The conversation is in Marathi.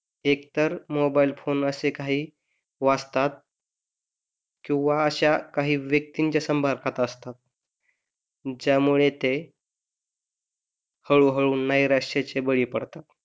एकतर मोबाईल फोन अशे काही वाजतात किंवा अशा काही व्यक्तींच्या असतात ज्यामुळे ते हळूहळू नैराश्येचे बळी पडतात